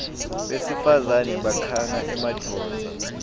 besifazane bakhanga emadvodza